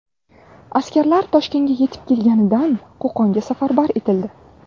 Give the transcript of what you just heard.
Askarlar Toshkentga yetib kelganidan Qo‘qonga safarbar etildi.